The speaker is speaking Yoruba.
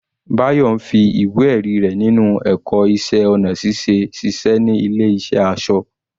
Bayo ń fi ìwé ẹ̀rí rẹ̀ ninu ẹ̀kọ́ iṣẹ́ ọnà ṣiṣẹ́ ní ilé ìṣẹ́ aṣọ.